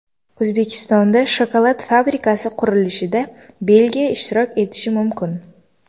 O‘zbekistonda shokolad fabrikasi qurilishida Belgiya ishtirok etishi mumkin.